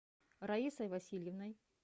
раисой васильевной